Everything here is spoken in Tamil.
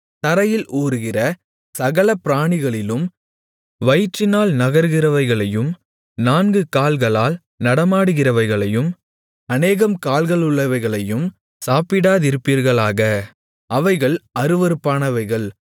தரையில் ஊருகிற சகல பிராணிகளிலும் வயிற்றினால் நகருகிறவைகளையும் நான்கு கால்களால் நடமாடுகிறவைகளையும் அநேகம் கால்களுள்ளவைகளையும் சாப்பிடாதிருப்பீர்களாக அவைகள் அருவருப்பானவைகள்